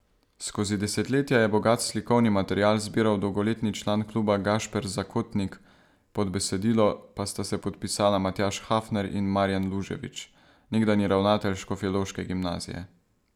Skozi desetletja je bogat slikovni material zbiral dolgoletni član kluba Gašper Zakotnik, pod besedilo pa sta se podpisala Matjaž Hafner in Marjan Luževič, nekdanji ravnatelj škofjeloške gimnazije.